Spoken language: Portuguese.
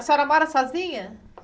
A senhora mora sozinha?